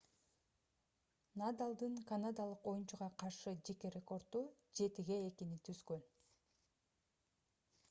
надалдын канадалык оюнчуга каршы жеке рекорду 7-2 түзгөн